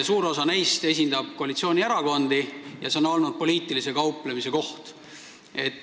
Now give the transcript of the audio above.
Suur osa neist esindab koalitsioonierakondi – see on olnud poliitilise kauplemise koht.